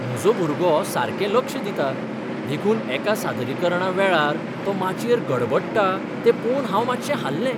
म्हजो भुरगो सारकें लक्ष दिता, देखून एका सादरीकरणा वेळार तो माचयेर गडबडटा तें पळोवन हांव मातशें हाल्लें.